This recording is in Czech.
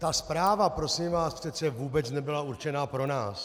Ta zpráva, prosím vás, přece vůbec nebyla určená pro nás.